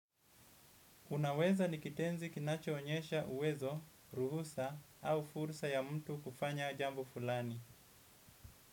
Unaweza nikitenzi kinacho onyesha uwezo, ruhusa au fursa ya mtu kufanya jambo fulani.